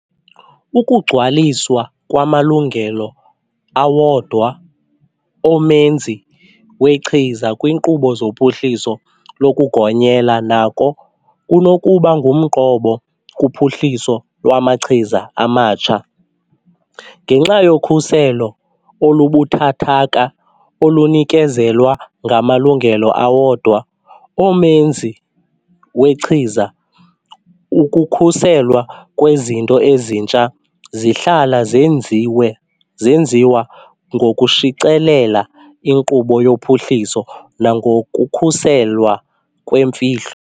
Ukugcwaliswa kwamalungelo awodwa omenzi wechiza kwiinkqubo zophuhliso lokugonyelwa nako kunokuba ngumqobo kuphuhliso lwamachiza amatsha. Ngenxa yokhuselo olubuthathaka olunikezelwa ngamalungelo awodwa omenzi wechiza, ukukhuselwa kwezinto ezintsha zihlala zenziwa ngokushicilela inkqubo yophuhliso nangokukhuselwa kwemfihlo.